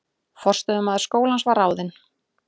Forstöðumaður skólans var ráðinn